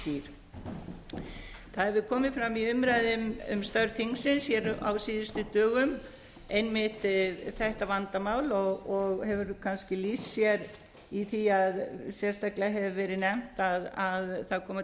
framkvæmdarvaldsins óskýr það hefur komið fram í umræðum um störf þingsins hér á síðustu dögum einmitt þetta vandamál og hefur kannski lýst sér í því að sérstaklega hefur verið nefnt að það koma